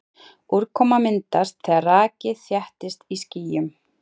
Úrkoma myndast þegar raki þéttist í skýjum.